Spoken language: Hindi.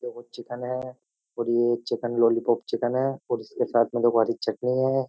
ये देखो चिकन है और ये चिकन लॉलीपॉप चिकन है और इसके साथ में देखो हरी चटनी है।